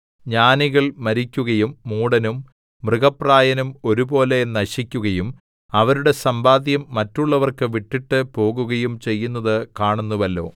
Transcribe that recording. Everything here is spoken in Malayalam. ജ്ഞാനികൾ മരിക്കുകയും മൂഢനും മൃഗപ്രായനും ഒരുപോലെ നശിക്കുകയും അവരുടെ സമ്പാദ്യം മറ്റുള്ളവർക്ക് വിട്ടിട്ട് പോകുകയും ചെയ്യുന്നത് കാണുന്നുവല്ലോ